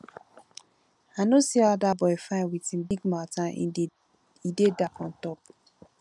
i no see how dat boy fine with him big mouth and he dey dark on top